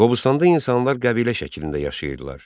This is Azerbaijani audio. Qobustanda insanlar qəbilə şəklində yaşayırdılar.